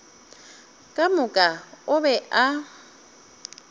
ka moka o be a